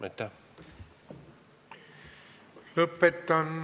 Aitäh!